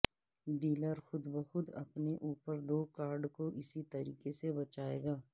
dealer خود بخود اپنے اوپر دو کارڈ کو اسی طریقے سے بچائے گا